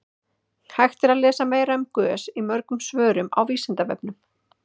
hægt er að lesa meira um gös í mörgum svörum á vísindavefnum